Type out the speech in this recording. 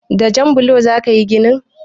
Da jan blo za ka yi gini?